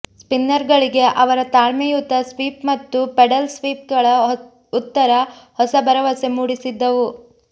ಸ್ಪಿನ್ನರ್ಗಳಿಗೆ ಅವರ ತಾಳ್ಮೆಯುತ ಸ್ವೀಪ್ ಮತ್ತು ಪೆಡಲ್ ಸ್ವೀಪ್ಗಳ ಉತ್ತರ ಹೊಸ ಭರವಸೆ ಮೂಡಿಸಿದ್ದವು